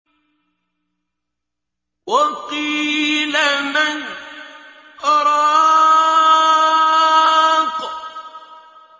وَقِيلَ مَنْ ۜ رَاقٍ